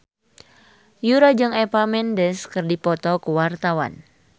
Yura jeung Eva Mendes keur dipoto ku wartawan